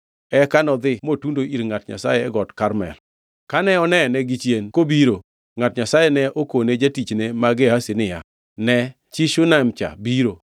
Eka nodhi motundo ir ngʼat Nyasaye e got Karmel. Kane onene gichien kobiro, ngʼat Nyasaye ne okone jatichne ma Gehazi niya, “Ne! Chi Shunam cha biro!